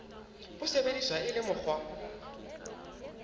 bo sebediswa e le mokgwa